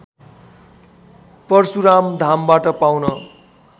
परशुराम धामबाट पाउन